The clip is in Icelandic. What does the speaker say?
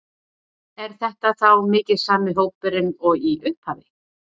Er þetta þá mikið sami hópurinn og í upphafi?